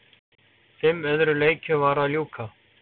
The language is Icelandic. Fimm öðrum leikjum var að ljúka